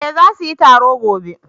eh za su yi taro gobe